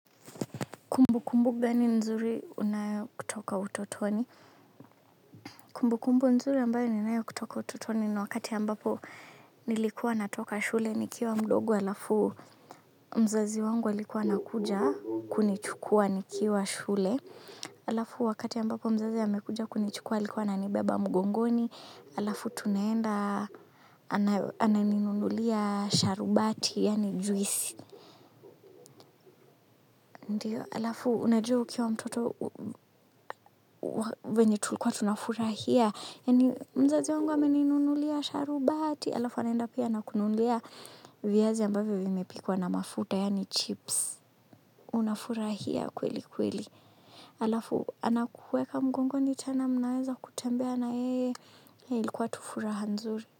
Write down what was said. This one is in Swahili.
Kumbu kumbu gani nzuri unayo kutoka utotoni? Kumbu kumbu nzuri ambayo ninayo kutoka utotoni na wakati ambapo nilikuwa natoka shule nikiwa mdogo alafu mzazi wangu alikuwa anakuja kunichukua nikiwa shule. Alafu wakati ambapo mzazi amekuja kunichukua alikuwa ananibeba mgongoni. Alafu tunaenda anani nunulia sharubati yani juisi. Ndiyo, alafu, unajua ukiwa mtoto venye tulikuwa tunafurahia. Mzazi wangu ameni nunulia sharubati. Alafu, anaenda pia ana kununulia viazi ambavyo vimepikwa na mafuta, yani chips. Unafurahia kweli kweli. Alafu, ana kuweka mgongoni tena mnaanza kutembea na yeye ilikuwa tu furaha nzuri.